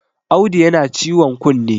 Audu yana ciwon kunne!